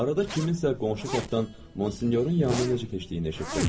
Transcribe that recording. Arada kimsə qonşu taxtdan Monsinyorun yanına necə keçdiyini eşitdim.